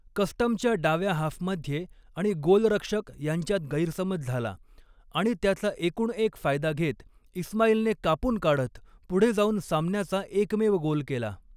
कस्टमच्या डाव्या हाफमध्ये आणि गोलरक्षक यांच्यात गैरसमज झाला, आणि त्याचा एकूणएक फायदा घेत इस्माईलने कापून काढत पुढे जाऊन सामन्याचा एकमेव गोल केला.